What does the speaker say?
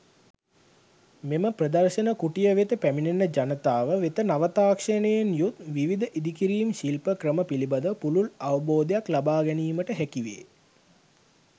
මෙම ප්‍රදර්ශන කුටිය වෙත පැමිණෙන ජනතාව වෙත නව තාක්ෂණයෙන් යුත් විවිධ ඉදිකිරීම් ශිල්ප ක්‍රම පිළිබඳ පුළුල් අවබෝධයක් ලබාගැනීමට හැකි වේ.